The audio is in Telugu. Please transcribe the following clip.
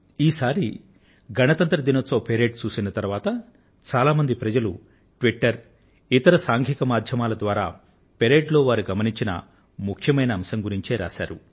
ఈసారి గణతంత్ర దినోత్సవ కవాతును చూసిన తరువాత చాలా మంది ప్రజలు ట్విటర్ లోను ఇంకా ఇతర సాంఘిక మాధ్యమాల ద్వారాను కవాతులో వారు గమనించిన ముఖ్యమైన అంశం గురించే వ్రాశారు